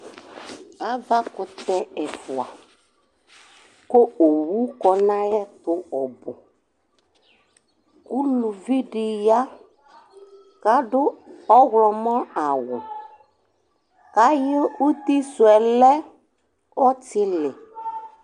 ava kutɛ ɛfua ko owu kɔ n'ayɛto ɔbò uluvi di ya k'ado ɔwlɔmɔ awu k'ayi uti suɛ lɛ ɔtili